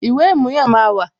Ìwé ìmúyàn máa wà